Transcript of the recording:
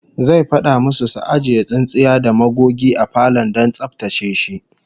Zai fada musu su ajiye tsintsiya da magogi a falon don tsaftace shi